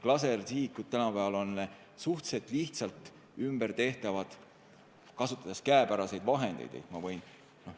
Tänapäeval on lasersihikud suhteliselt lihtsalt ümbertehtavad, kasutades käepäraseid vahendeid.